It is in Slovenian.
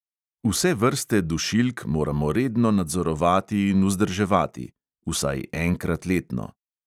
Vse vrste dušilk moramo redno nadzorovati in vzdrževati (vsaj enkrat letno).